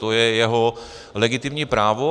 To je jeho legitimní právo.